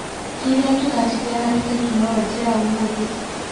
kĩria kĩratigia harĩĩ tekinolonjĩ ya ũmũthĩ